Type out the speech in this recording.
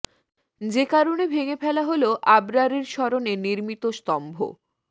যে কারণে ভেঙে ফেলা হলো আবরারের স্মরণে নির্মিত স্তম্ভ